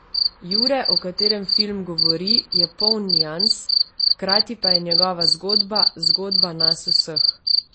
Jure, o katerem film govori, je poln nians, hkrati pa je njegova zgodba, zgodba nas vseh.